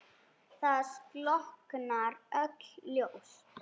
Það slokkna öll ljós.